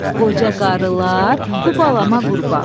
qoca qarılar, bu balama qurban.